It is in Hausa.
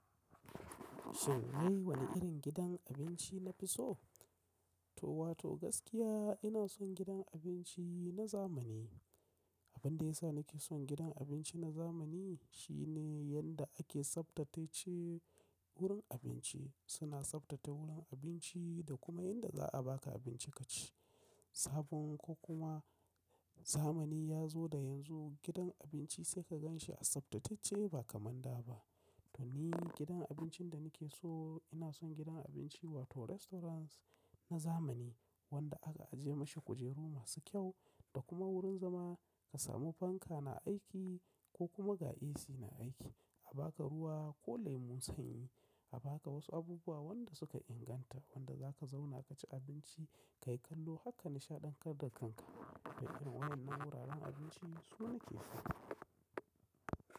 Shin wai wane irin gidan abinci na fi so? To wato gaskiya ina son gidan abinci na zamani. Abin da ya sa nake son gidan abinci na zamani shine yanda ake tsabtace wurin abinci. Suna tsaftace wurin abinci da kuma yanda za a baka abinci ka ci. Sabon ko kuma zamani ya zo da yanzu gidan abinci sai ka gan shi a tsaftatacce ba kamar da ba. To ni gidan abincin da nake so ina son gidan abinci wato restaurants na zamani wanda aka aje masa kujeru masu kyau da kuma wurin zama ka samu fanka na aiki ko kuma ga AC na aiki. A baka ruwa ko lemun sanyi, a baka wasu abubuwa wanda suka inganta wanda zaka zauna ka ci abinci ka yi kallo haka nishaɗantar da kanka. Wannan wuraren abinci su nake so.